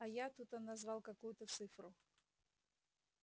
а я тут он назвал какую-то цифру